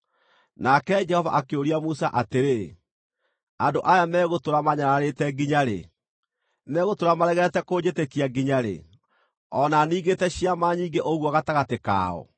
Nake Jehova akĩũria Musa atĩrĩ, “Andũ aya megũtũũra maanyararĩte nginya-rĩ? Megũtũũra maregete kũnjĩtĩkia nginya-rĩ, o na ningĩte ciama nyingĩ ũguo gatagatĩ kao?